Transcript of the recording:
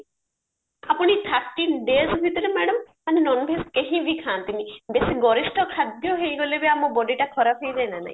ଆପଣ ଏଇ thirteen days ଭିତରେ madam ମାନ non veg କେହି ବି ଖାଆନ୍ତିନି ବେଶି ଗରିଷ୍ଠ ଖାଦ୍ୟ ହେଇଗଲେ ବି ଆମ body ଟା ଖରାପ ହେଇଯାଏ ନା ନାହି